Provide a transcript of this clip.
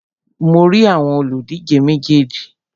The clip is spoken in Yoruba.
Mo rí àwọn òlùdíje méjèèjì.